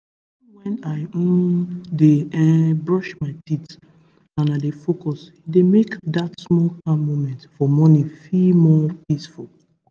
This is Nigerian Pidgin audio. even when i um dey um brush my teeth and i dey focus e don make that small calm moment for morning feel more peaceful